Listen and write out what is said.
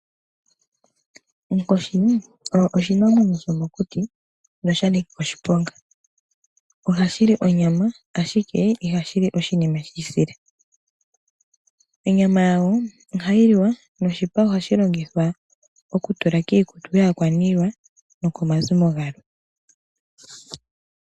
Onkoshi oyo oshinamwenyo shomokuti nosha nika oshiponga. Ohashi li onyama, ashike ihashi li oshinima shi isila. Onyama yawo ohayi liwa, noshipa ohashi longithwa okutula kiikutu yaakwaniilwa nokomazimo galwe.